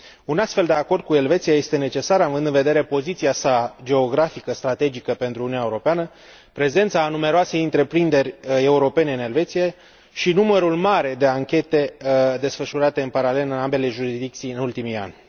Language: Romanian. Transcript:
Un astfel de acord cu Elveția este necesar având în vedere poziția sa geografică strategică pentru Uniunea Europeană, prezența a numeroase întreprinderi europene în Elveția și numărul mare de anchete desfășurate în paralel în ambele jurisdicții în ultimii ani.